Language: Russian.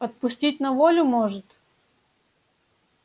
отпустить на волю может